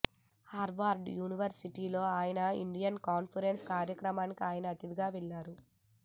Harvard university లో India conference కార్యక్రమానికి ఆయన అతిథిగా వెళ్లారు